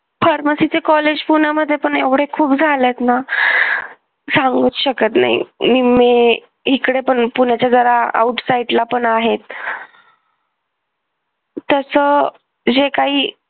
pharmacy चे college पुण्यामध्ये पण एवढे खूप झालेत ना सांगू शकत नाही मी निम्मे हीकडे पण पुण्याच्या जरा out side ला पण आहेत त्याचं जे काही